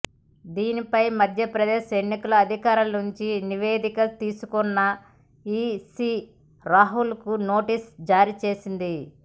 దీనిపై మధ్యప్రదేశ్ ఎన్నికల అధికారుల నుంచి నివేదిక తీసుకున్న ఈసీ రాహుల్కు నోటీసులు జారీ చేసింది